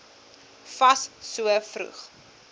fas so vroeg